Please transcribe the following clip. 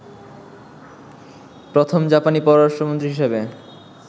প্রথম জাপানি পররাষ্ট্রমন্ত্রী হিসেবে